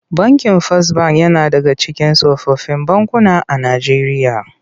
Bankin Fas Bank yana daga cikin tsofaffin bankuna a Najeriya.